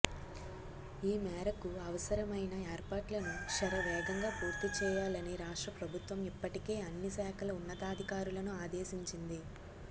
ఈ మేరకు అవసరమైన ఏర్పాట్లను శరవేగంగా పూర్తి చేయాలని రాష్ట్ర ప్రభుత్వం ఇప్పటికే అన్ని శాఖల ఉన్నతాధికారులను ఆదేశించింది